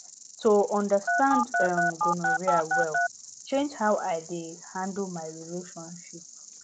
to understand um gonorrhea well change how i dey handle my relationship